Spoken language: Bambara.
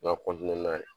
Nka